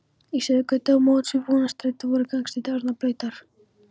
Í Suðurgötu á móts við Vonarstræti voru gangstéttir orðnar blautar.